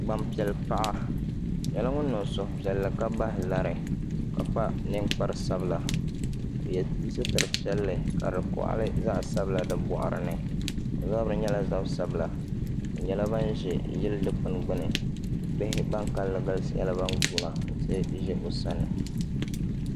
Gbanpiɛli paɣa o nyɛla ŋun niŋ suhupiɛlli ka bahi lari ka kpa ninkpari sabila o yɛ sitiri piɛlli ka di koɣali zaɣ sabila di boɣari ni o zabiri nyɛla zabi sabila o nyɛla ban ʒɛ yili dikpuni gbuni bihi ban kanli galisi nyɛla bin guuna ti ʒɛ o sani